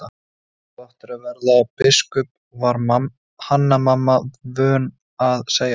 Þú áttir að verða biskup, var Hanna-Mamma vön að segja.